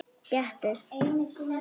Gettu